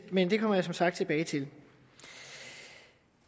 men det kommer jeg som sagt tilbage til